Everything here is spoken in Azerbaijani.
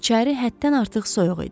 İçəri həddən artıq soyuq idi.